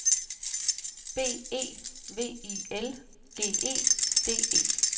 B E V I L G E D E